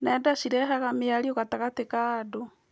Nenda cirehaga mĩario gatagatĩ ka andũ.